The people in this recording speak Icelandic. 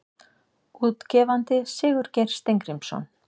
Útgefandi Sigurgeir Steingrímsson.